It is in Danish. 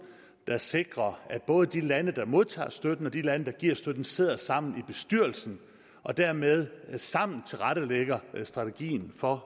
der sikrer at både de lande der modtager støtten og de lande der giver støtten sidder sammen i bestyrelsen og dermed sammen tilrettelægger strategien for